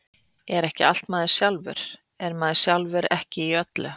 Er ekki allt maður sjálfur, er maður sjálfur ekki í öllu?